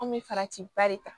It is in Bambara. An bɛ farati ba de ta